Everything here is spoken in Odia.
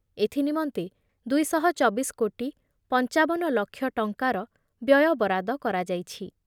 ଏଥିନିମନ୍ତେ ଦୁଇ ଶହ ଚବିଶ କୋଟି ପଞ୍ଚାବନ ଲକ୍ଷ ଟଙ୍କାର ବ୍ୟୟବରାଦ କରାଯାଇଛି।